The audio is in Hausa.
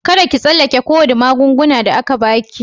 Kadda ki tsallake ko wani magungunan da aka ba ki.